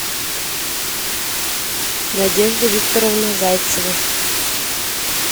надежда викторовна зайцева